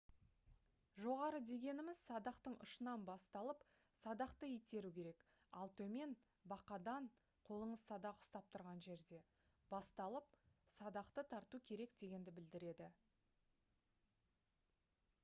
жоғары дегеніміз - садақтың ұшынан басталып садақты итеру керек ал төмен - бақадан қолыңыз садақ ұстап тұрған жерде басталып садақты тарту керек дегенді білдіреді